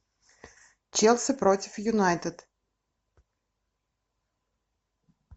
челси против юнайтед